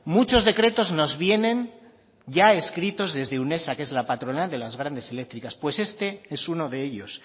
muchos decretos nos vienen ya escritos desde unesa que es la patronal de las grandes eléctricas pues este es uno de ellos